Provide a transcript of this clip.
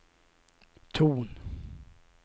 ton